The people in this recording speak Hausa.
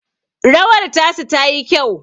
rawar tasu tayi kyau